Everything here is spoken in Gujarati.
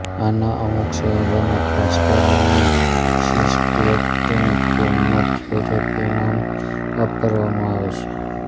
આના અમુક સંયોજનો ખાસ કરીને સીસ્પ્લેટીન કેમોથેરેપીમામ્ વાપરવામાં આવે છે